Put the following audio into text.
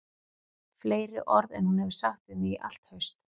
Fleiri orð en hún hefur sagt við mig í allt haust